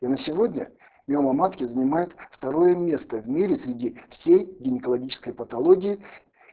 на сегодня в миома матки занимает второе место в мире среди всей гинекологической патологии